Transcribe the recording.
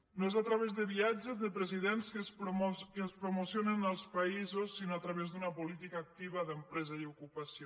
no és a través de viatges de presidents que es promocionen els països sinó a través d’una política activa d’empresa i ocupació